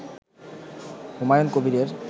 হুমায়ুন কবিরের